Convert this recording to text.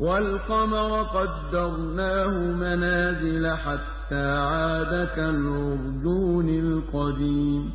وَالْقَمَرَ قَدَّرْنَاهُ مَنَازِلَ حَتَّىٰ عَادَ كَالْعُرْجُونِ الْقَدِيمِ